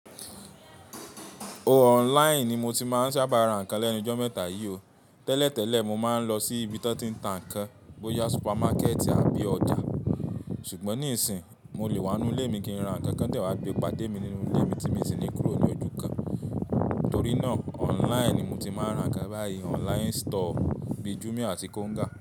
O online ni mo ti máa ń sábà ra nǹkan lẹ́nu jọ́ mẹ́ta yìí o. Tẹ́lẹ̀ tẹ́lẹ̀ mo máa ń lọ sí ibi tí wọ́n ti ń ta nǹkan bóyá supermarket àbí ọjà. Ṣùgbọ́n nísìínyi mo lè wá nínú ilé mi kí n ra nǹkan kí ń tẹ̀ wá gbe pàdé mi nínú ilé mi tí mo ti sì ní kúrò ní ojú kan. Torí náà online ni mo ti máa ń ra nǹkan báyìí online store bíi Jumia àti Konga.